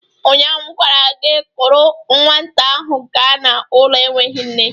Ụnyaahụ m gwara gị, kuru nwata ahụ ga n'ụlọ enweghị nne!